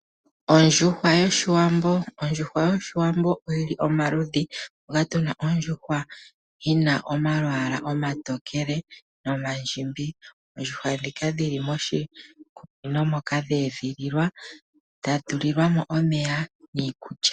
Ondjuhwa yoshiwambo oyili omaludhi moka tuna ondjuhwa yina omalwaala omatokele nomandjimbi. Oondjuhwa ndhika dhili moshikunino moka dhe edhililwa dha tulilwa mo omeya niikulya.